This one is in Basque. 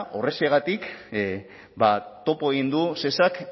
horrexegatik topo egin du shesak